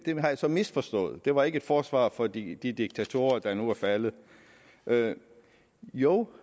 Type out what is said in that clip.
har jeg så misforstået det var ikke et forsvar for de de diktatorer der nu er faldet jo